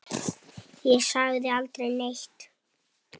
Ég sagði aldrei neitt.